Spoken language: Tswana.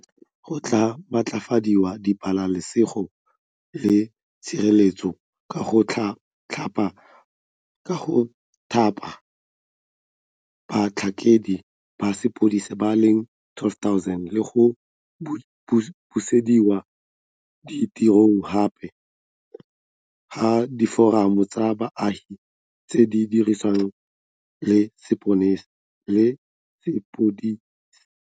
Go tla matlafadiwa pabalesego le tshireletso ka go thapa batlhankedi ba sepodisi ba le 12 000 le go busediwa tirisong gape ga diforamo tsa baagi tse di dirisanang le sepodisi.